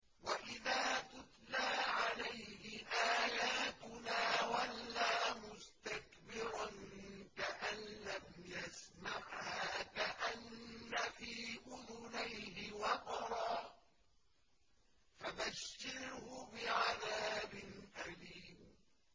وَإِذَا تُتْلَىٰ عَلَيْهِ آيَاتُنَا وَلَّىٰ مُسْتَكْبِرًا كَأَن لَّمْ يَسْمَعْهَا كَأَنَّ فِي أُذُنَيْهِ وَقْرًا ۖ فَبَشِّرْهُ بِعَذَابٍ أَلِيمٍ